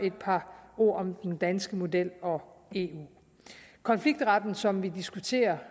et par ord om den danske model og eu konfliktretten som vi diskuterer